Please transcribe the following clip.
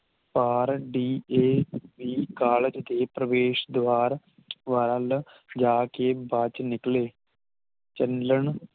ਪਾਰ D A E college ਦੇ ਪ੍ਰਵੇਸ਼ ਦ੍ਵਾਰ ਵੱਲ ਜਾ ਕੇ ਬਚ ਨਿਕਲੇ ਚੱਲਣ